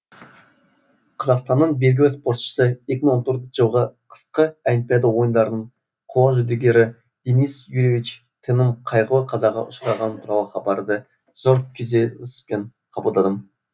қазақстанның белгілі спортшысы екі мың он төрт жылғы қысқы олимпиада ойындарының қола жүлдегері денис юрьевич теннің қайғылы қазаға ұшырағаны туралы хабарды зор күйзеліспен қабылдадым